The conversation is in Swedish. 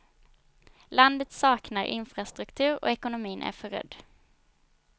Landet saknar infrastruktur och ekonomin är förrödd.